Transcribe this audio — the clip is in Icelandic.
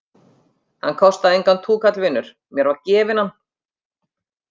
Hann kostaði engan túkall vinur, mér var gefinn hann.